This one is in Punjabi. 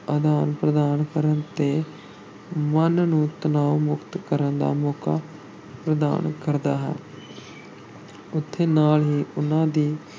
ਅਦਾਨ ਪ੍ਰਦਾਨ ਕਰ ਕੇ ਮਨ ਨੂੰ ਤਣਾਓ-ਮੁਕਤ ਕਰਨ ਦਾ ਮੌਕਾ ਪ੍ਰਦਾਨ ਕਰਦਾ ਹੈ ਉੱਥੇ ਨਾਲ ਹੀ ਉਨ੍ਹਾਂ ਦੀ